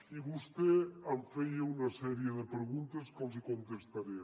i vostè em feia una sèrie de preguntes que li contestaré